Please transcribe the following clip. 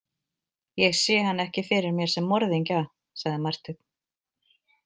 Ég sé hann ekki fyrir mér sem morðingja, sagði Marteinn.